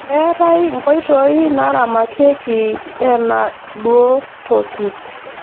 Keetae nkoitoi naaramatieki enaadotuoki.